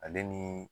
Ale ni